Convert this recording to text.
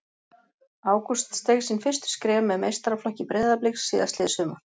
Ágúst steig sín fyrstu skref með meistaraflokki Breiðabliks síðastliðið sumar.